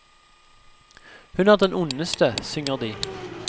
Hun er den ondeste, synger de.